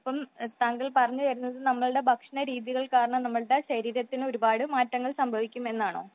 അപ്പോൾ താങ്കൾ പറഞ്ഞു വരുന്നത് നമ്മുടെ ഭക്ഷണ രീതികൾ കാരണം നമ്മളുടെ ശരീരത്തിന് കൂടുതൽ മാറ്റങ്ങൾ സംഭവിക്കുമെന്നാണോ ?